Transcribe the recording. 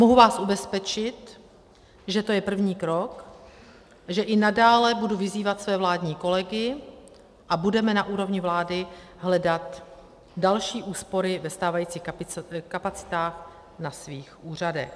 Mohu vás ubezpečit, že to je první krok, že i nadále budu vyzývat své vládní kolegy a budeme na úrovni vlády hledat další úspory ve stávajících kapacitách na svých úřadech.